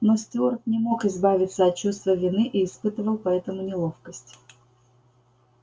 но стюарт не мог избавиться от чувства вины и испытывал поэтому неловкость